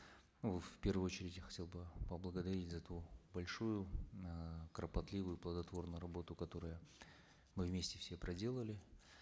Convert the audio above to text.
ну в первую очередь я хотел бы поблагодарить за эту большую э кропотливую плодотворную работу которую мы вместе все проделали